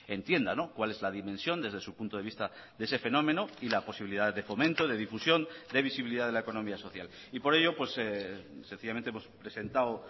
entienda cuál es la dimensión desde su punto de vista de ese fenómeno y la posibilidad de fomento de difusión de visibilidad de la economía social y por ello sencillamente hemos presentado